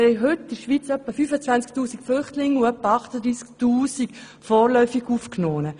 Wir haben heute in der Schweiz etwa 25 000 Flüchtlinge und etwa 38 000 vorläufig Aufgenommene.